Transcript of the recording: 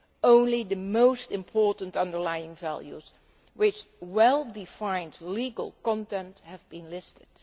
Only the most important underlying values with a well defined legal content have been listed.